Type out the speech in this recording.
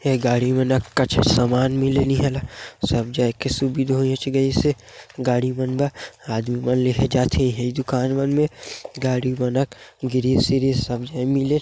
ये गाड़ी मन न कछु सामान मिले न ही ना सब जाई के सुविधा होईच गईस. गाड़ी मन मे आदमी मन लेहे जाथेये दुकान मन में गाड़ी मनक गिरिस विरिस मिले